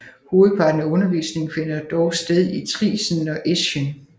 Hovedparten af undervisningen finder dog sted i Triesen og Eschen